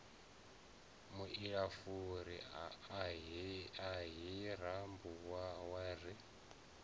muilafuri ahee rambau wa ri